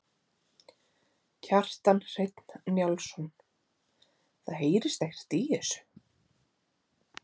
Kjartan Hreinn Njálsson: Það heyrist ekkert í þessu?